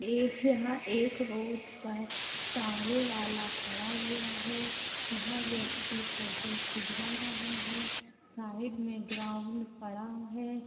एक यहा एक रोड पर टांगे वाला खडा हुवा हे यहा व्यक्ती फोटो खिचवा रहा हे साइड में ग्राउंड पडा है।